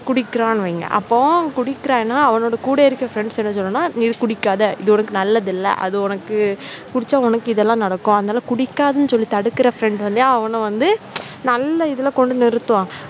குடிக்கிறான்னு வைங்க அப்போ குடிக்கிறான்னு அவ கூட இருக்குற friends என்ன சொல்லணும்னா குடிக்காத இது உனக்கு நல்லது இல்ல அது உனக்கு குடிச்சா உனக்கு இதெல்லாம் நடக்கும், அதனால குடிக்காத அப்படின்னு சொல்லி தடுக்கிற friend அவன வந்து நல்ல இதுல கொண்டு வந்து நிறுத்துவான்.